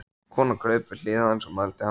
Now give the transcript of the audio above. Konan kraup við hlið hans og mældi hann út.